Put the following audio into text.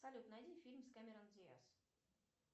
салют найди фильм с кэмерон диас